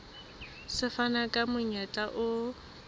se fana ka monyetla o